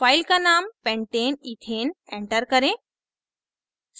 file का name pentaneethane enter करें